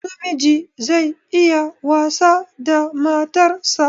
Namiji zai iya wasa da matar sa